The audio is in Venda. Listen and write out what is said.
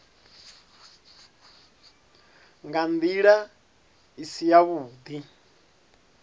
nga ndila i si yavhudi